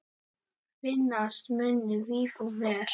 Finnast munu víf og ver.